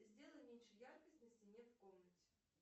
сделай меньше яркость на стене в комнате